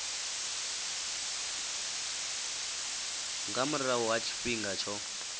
nga murahu ha tshifhinga tsho